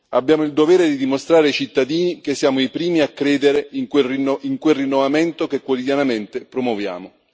Abbiamo il dovere di dimostrare ai cittadini che siamo i primi a credere in quel rinnovamento che quotidianamente promuoviamo.